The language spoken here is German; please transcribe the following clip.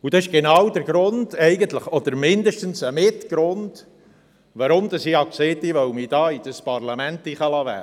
Und das ist genau der Grund, oder mindestens mit ein Grund, weshalb ich sagte, ich wolle mich in dieses Parlament wählen lassen.